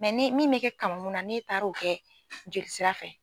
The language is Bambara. ni min mɛ kɛ kamankun na ni e taara o kɛ jolisira fɛ.